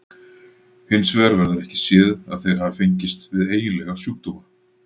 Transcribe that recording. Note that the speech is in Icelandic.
Hins vegar verður ekki séð að þeir hafi fengist við eiginlega sjúkdóma.